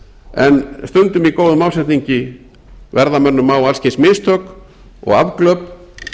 en stundum í góðum ásetningi verða mönnum á alls kyns mistök og afglöp